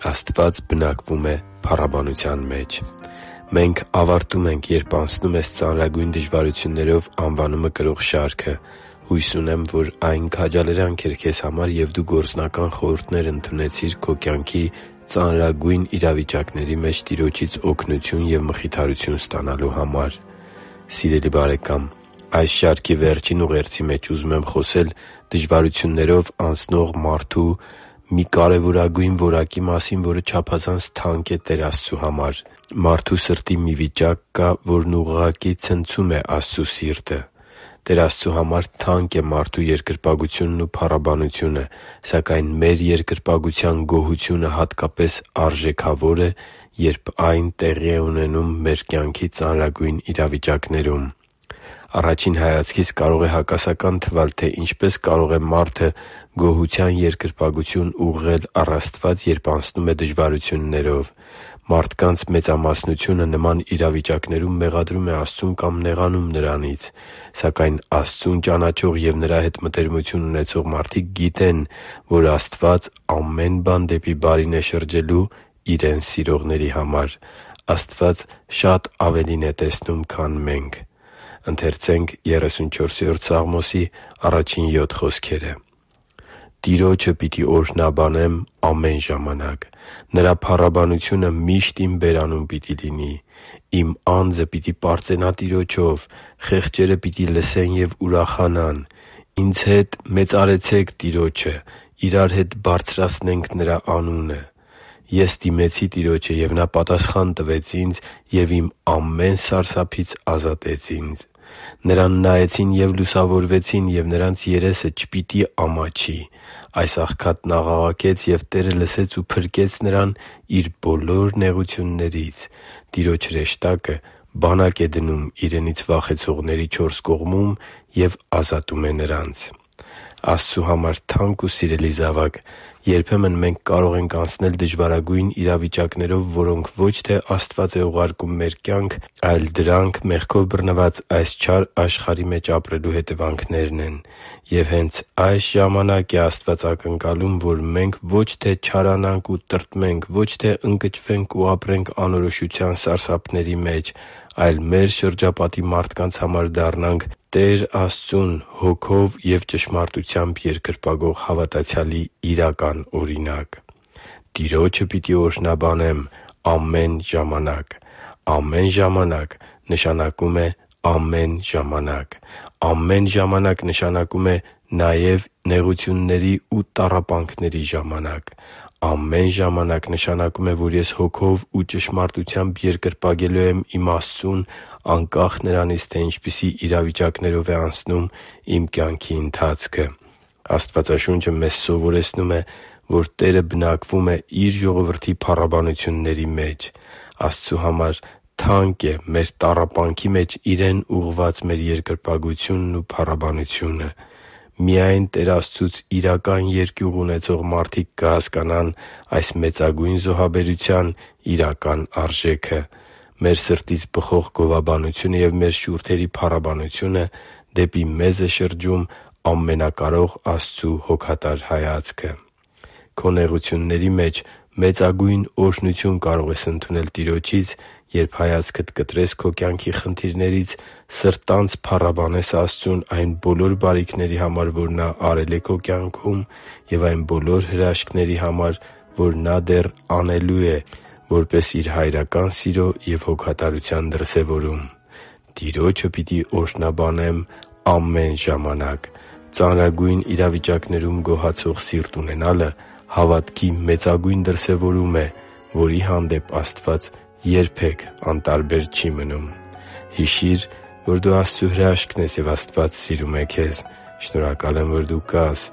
Աստված բնակվում է փառաբանության մեջ Մենք ավարտում ենք «Երբ անցնում ես ծանրագույն դժվարություններով» անվանումը կրող շարքը։ Հույս ունեմ, որ այն քաջալերանք էր քեզ համար, և դու գործնական խորհուրդներ ընդունեցիր քո կյանքի ծանրագույն իրավիճակների մեջ Տիրոջից օգնություն և մխիթարություն ստանալու համար։ Սիրելի՛ բարեկամ, այս շարքի վերջին ուղերձի մեջ ուզում եմ խոսել դժվարություններով անցնող մարդու մի կարևորագույն որակի մասին, որը չափազանց թանկ է Տեր Աստծու համար։ Մարդու սրտի մի վիճակ կա, որն ուղղակի ցնցում է Տեր Աստծու սիրտը։ Տեր Աստծու համար թանկ է մարդու երկրպագությունն ու փառաբանությունը։ Սակայն մեր երկրպագության գոհությունը հատկապես արժեքավոր է, երբ այն տեղի է ունենում մեր կյանքի ծանրագույն իրավիճակներում։ Առաջին հայացքից կարող է հակասական թվալ, թե ինչպե՞ս կարող է մարդը գոհության երկրպագություն ուղղել առ Աստված, երբ անցնում է դժվարություններով։ Մարդկանց մեծամասնությունը նման իրավիճակներում մեղադրում է Աստծուն կամ նեղանում Նրանից։ Սակայն Աստծուն ճանաչող և Նրա հետ մտերմություն ունեցող մարդիկ գիտեն, որ Աստված ամեն բան դեպի բարին է շրջելու Իրեն սիրողների համար։ Աստված շատ ավելին է տեսնում, քան մենք։ «Տիրոջը պիտի օրհնաբանեմ ամեն ժամանակ. Նրա փառաբանությունը միշտ իմ բերանում պիտի լինի։ Իմ անձը պիտի պարծենա Տիրոջով, խեղճերը պիտի լսեն և ուրախանան։ Ինձ հետ մեծարեցե՛ք Տիրոջը, իրար հետ բարձրացնենք Նրա անունը։ Ես դիմեցի Տիրոջը, և Նա պատասխան տվեց ինձ և իմ ամեն սարսափից ազատեց ինձ։ Նրան նայեցին և լուսավորվեցին, և նրանց երեսը չպիտի ամաչի։ Այս աղքատն աղաղակեց, և Տերը լսեց ու փրկեց նրան իր բոլոր նեղություններից։ Տիրոջ հրեշտակը բանակ է դնում Իրենից վախեցողների չորս կողմում և ազատում է նրանց» (Սաղմոս 34․1-7 ՆՎԱԱ): Աստծու համար թանկ ու սիրելի՛ զավակ, երբեմն մենք կարող ենք անցնել դժվարագույն իրավիճակներով, որոնք ո՛չ թե Աստված է ուղարկում մեր կյանք, այլ մեղքով բռնված այս չար աշխարհի մեջ ապրելու հետևանքներն են։ Եվ հե՛նց այդ ժամանակ Աստված ակնկալում է, որ մենք ո՛չ թե չարանանք ու տրտմենք, ո՛չ թե ընկճվենք ու ապրենք անորոշության սարսափների մեջ, այլ մեր շրջապատի մարդկանց համար դառնանք Տեր Աստծուն Հոգով և ճշմարտությամբ երկրպագող հավատացյալի իրական օրինակ։ «Տիրոջը պիտի օրհնաբանեմ ամեն ժամանակ․․․»։ Ամեն ժամանակ նշանակում է ամեն ժամանակ։ Ամեն ժամանակ նշանակում է նաև նեղությունների ու տառապանքների ժամանակ։ Ամեն ժամանակ նշանակում է, որ ես Հոգով ու ճշմարտությամբ երկրպագելու եմ իմ Աստծուն՝ անկախ նրանից, թե ինչպիսի իրավիճակներով է անցնում իմ կյանքի ընթացքը։ Աստվածաշունչը մեզ սովորեցնում է, որ Տերը բնակվում է Իր ժողովրդի փառաբանությունների մեջ։ Աստծու համար թանկ է մեր տառապանքի մեջ Իրեն ուղղված մեր երկրպագությունն ու փառաբանությունը։ Միայն Տեր Աստծուց իրական երկյուղ ունեցող մարդիկ կհասկանան այս մեծագույն զոհաբերության իրական արժեքը։ Մեր սրտից բխող գովաբանությունը և մեր շուրթերի փառաբանությունը դեպի մեզ է շրջում ամենակարող Աստծու հոգատար հայացքը։ Քո նեղությունների մեջ մեծագույն օրհնություն կարող ես ընդունել Տիրոջից, երբ հայացքդ կտրես քո կյանքի խնդիրներից, սրտանց փառաբանես Աստծուն այն բոլոր բարիքների համար, որ Նա արել է քո կյանքում, և այն բոլոր հրաշքների համար, որ Նա դեռ անելու է՝ որպես Իր հայրական սիրո ու հոգատարության դրսևորում։ «Տիրոջը պիտի օրհնաբանեմ ամեն ժամանակ․․․»։ Ծանրագույն իրավիճակներում գոհացող սիրտ ունենալը հավատքի մեծագույն դրսևորում է, որի հանդեպ Աստված երբե՛ք անտարբեր չի մնում․․․ Հիշի՛ր, որ դու Աստծո հրաշքն ես, և Աստված սիրում է քեզ։ Շնորհակալ եմ, որ դու կա՛ս